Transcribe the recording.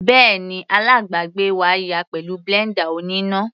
Bẹ́ẹ̀ni, alábàgbé wá yá a pẹ̀lú blender oníná.